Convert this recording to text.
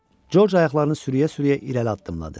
George ayaqlarını sürüyə-sürüyə irəli addımladı.